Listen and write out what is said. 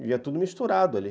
E ia tudo misturado ali.